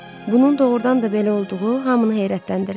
Bunun doğurdan da belə olduğu hamını heyrətləndirdi.